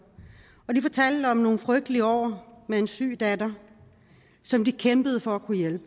og de fortalte om nogle frygtelige år med en syg datter som de kæmpede for at kunne hjælpe